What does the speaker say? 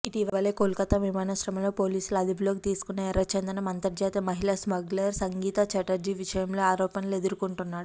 ఇటీవలే కోల్కత్తా విమానాశ్రయంలో పోలీసులు అదుపులో తీసుకున్న ఎర్రచందనం అంతర్జాతీయ మహిళా స్మగ్లర్ సంగీత చటర్జీ విషయంలో ఆరోపణలు ఎదుర్కొంటున్నాడు